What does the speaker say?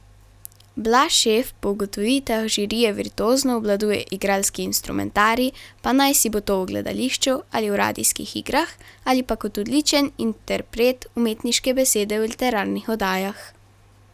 Blaž Šef po ugotovitvah žirije virtuozno obvladuje igralski instrumentarij, pa naj si bo to v gledališču ali v radijskih igrah, ali pa kot odličen interpret umetniške besede v literarnih oddajah.